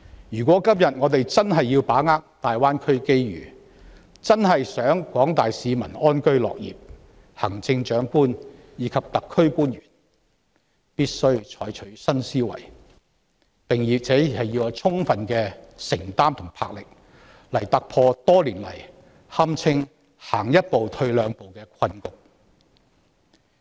若今天我們真的想要把握大灣區的機遇、真的希望廣大市民能安居樂業，行政長官及特區官員必須採取新思維，並且要具備充分承擔和魄力，來突破多年來堪稱是走一步退兩步的困局。